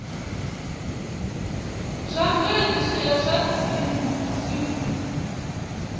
zwa mveledziso ya zwa dzinnu